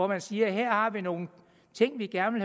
man siger her har vi nogle ting vi gerne